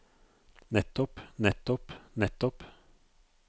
nettopp nettopp nettopp